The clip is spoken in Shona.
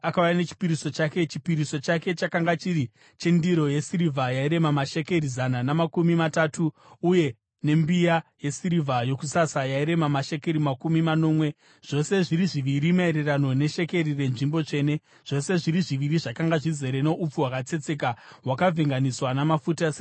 Chipiriso chake chakanga chiri chendiro yesirivha yairema mashekeri zana namakumi matatu, uye nembiya yesirivha yokusasa yairema mashekeri makumi manomwe, zvose zviri zviviri maererano neshekeri renzvimbo tsvene, zvose zviri zviviri zvakanga zvizere noupfu hwakatsetseka hwakavhenganiswa namafuta sechipiriso chezviyo.